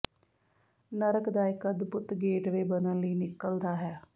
ਨਰਕ ਦਾ ਇੱਕ ਅਦਭੁਤ ਗੇਟਵੇ ਬਣਨ ਲਈ ਨਿਕਲਦਾ ਹੈ